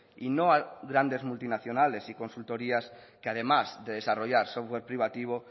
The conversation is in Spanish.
y no a grandes multinacionales y consultorías que además de desarrollar software privativo